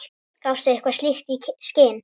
Gafstu eitthvað slíkt í skyn?